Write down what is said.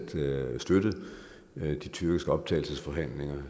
tiden støttet de tyrkiske optagelsesforhandlinger